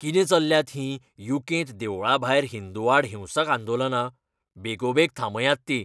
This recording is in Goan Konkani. कितें चल्ल्यांत हीं यू. कें. त देवळां भायर हिंदूं आड हिंसक आंदोलनां? बेगोबेग थांबयात तीं.